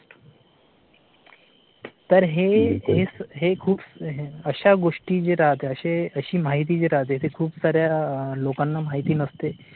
तर हे खूप अश्या गोष्टी जे राहतात अशी माहिती जी राहते ती खूप साऱ्या लोकांना माहित नसते